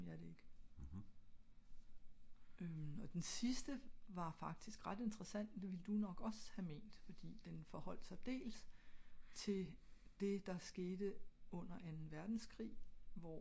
mhm